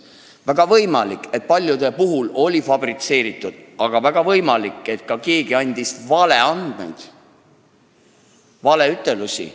Väga võimalik, et paljude puhul olid otsused fabritseeritud, aga võimalik ka, et keegi andis valeandmeid, valeütlusi.